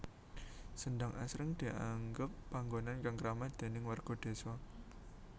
Sendhang asring dianggep panggonan kang kramat déning warga désa